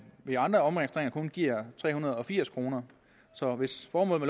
ved andre omregistreringer kun giver tre hundrede og firs kroner så hvis formålet